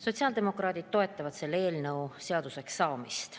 Sotsiaaldemokraadid toetavad selle eelnõu seaduseks saamist.